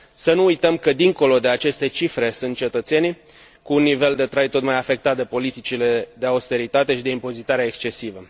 Să nu uităm că dincolo de aceste cifre sunt cetățenii cu un nivel de trai tot mai afectat de politicile de austeritate și de impozitarea excesivă.